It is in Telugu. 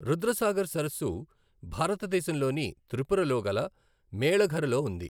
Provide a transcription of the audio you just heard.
రుద్రసాగర్ సరస్సు భారతదేశంలోని త్రిపురలో గల మేళఘర్ లో ఉంది.